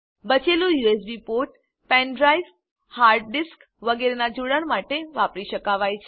બચેલ USB પોર્ટને pen drive hard disk વગેરેનાં જોડાણ માટે વાપરી શકાવાય છે